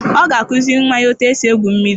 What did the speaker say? Ọ ga-akuziri nwa ya etu esi egwu mmiri.